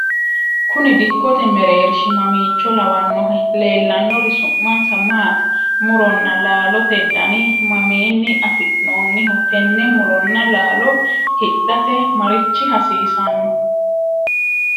kuni dikkote mereershi mamiicho lawannohe? leellannori su'mansa maati? muronna laalote dani mamiinni afi'noonniho? tenne muronna laalo hidhate marichi hasiisanno ?